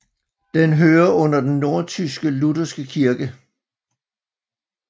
Den hører under den nordtyske lutherske kirke